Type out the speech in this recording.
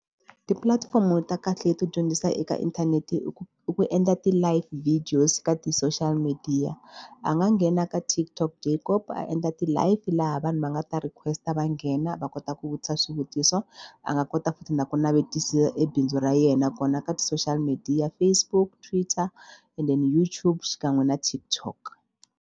Tipulatifomo ta kahle to dyondzisa eka inthanete i ku i ku endla ti-live videos ka ti-social media. A nga nghena ka TikTok a endla ti-live laha vanhu va nga ta request ndzi ta va nghena va kota ku vutisa swivutiso. A nga kota futhi na ku navetisa ebindzu ra yena kona ka ti-social media Facebook, Twitter and then YouTube xinkan'we na TikTok.